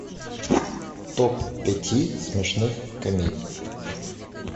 топ пяти смешных комедий